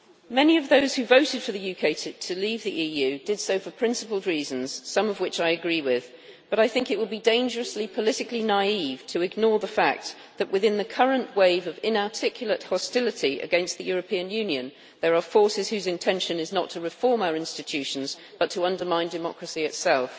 Many of those who voted for the UK to leave the EU did so for principled reasons, some of which I agree with, but I think it would be dangerously politically naive to ignore the fact that, within the current wave of inarticulate hostility against the European Union, there are forces whose intention is not to reform our institutions, but to undermine democracy itself.